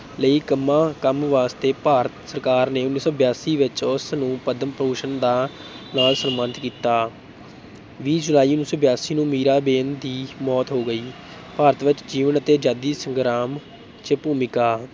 ਲਈ ਕੰਮਾਂ ਕੰਮ ਵਾਸਤੇ ਭਾਰਤ ਸਰਕਾਰ ਨੇ ਉੱਨੀ ਸੌ ਬਿਆਸੀ ਵਿੱਚ ਉਸ ਨੂੰ ਪਦਮ ਭੂਸ਼ਣ ਦਾ ਨਾਲ ਸਨਮਾਨਿਤ ਕੀਤਾ, ਵੀਹ ਜੁਲਾਈ ਉਨੀ ਸੌ ਬਿਆਸੀ ਨੂੰ ਮੀਰਾਬੇਨ ਦੀ ਮੌਤ ਹੋ ਗਈ, ਭਾਰਤ ਵਿੱਚ ਜੀਵਨ ਅਤੇ ਆਜ਼ਾਦੀ ਸੰਗਰਾਮ ਚ ਭੂਮਿਕਾ।